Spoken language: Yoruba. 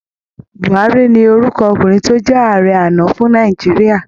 Buhárí ni orúkọ ọkùnrin tó jẹ Ààrẹ àná fún Nàìjíríà